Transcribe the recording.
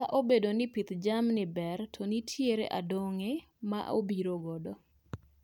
Kata obedo ni pith jamni ber, to nitiere andong'e ma obiro godo